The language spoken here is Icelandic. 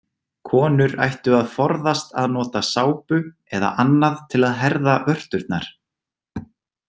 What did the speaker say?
Konur ættu að forðast að nota sápu eða annað til að herða vörturnar.